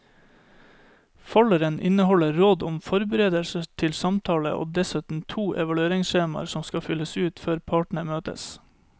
Folderen inneholder råd om forberedelser til samtalen og dessuten to evalueringsskjemaer som skal fylles ut før partene møtes.